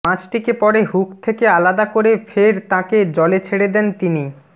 মাছটিকে পরে হুক থেকে আলাদা করে ফের তাঁকে জলে ছেড়ে দেন তিনি